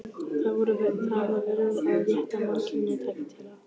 Það var verið að rétta mannkyninu tæki til að